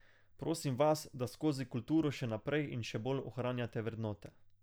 Prosim vas, da skozi kulturo še naprej in še bolj ohranjate vrednote.